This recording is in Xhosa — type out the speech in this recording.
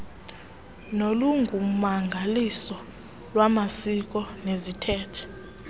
nolungummangaliso lwamasiko neziithethe